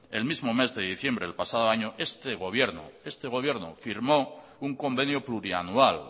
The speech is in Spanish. el mismo mes de diciembre del pasado año este gobierno firmó un convenio plurianual